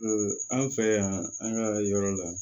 an fɛ yan an ka yɔrɔ la